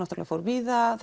fór víða